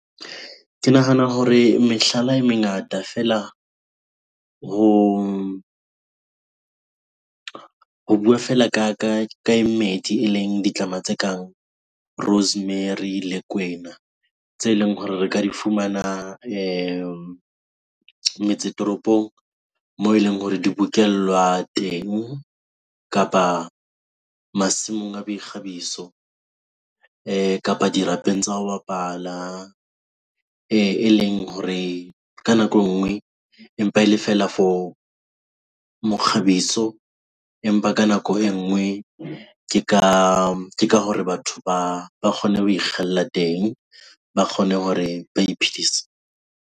Ke nahana hore mehlala e mengata fela . Ho bua fela ka e mmedi eleng ditlama tse kang rosemary le kwena tse leng hore re ka di fumana metse toropong moo eleng hore di bokellwa teng kapa masimong a boikgabiso kapa dirapeng tsa ho bapala. Eleng hore ka nako e nngwe empa e le feela for mokgabiso empa ka nako e nngwe ke ka hore batho ba kgone ho ikgella teng, ba kgone hore ba iphedise.